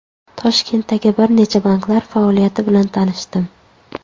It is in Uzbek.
Toshkentdagi bir necha banklar faoliyati bilan tanishdim.